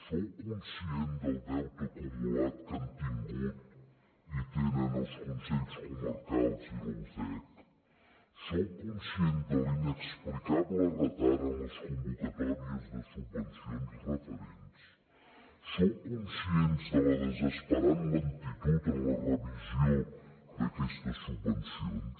sou conscient del deute acumulat que han tingut i tenen els consells comarcals i la ucec sou conscient de l’inexplicable retard en les convocatòries de subvencions referents sou conscients de la desesperant lentitud en la revisió d’aquestes subvencions